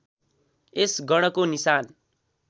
यस गणको निशान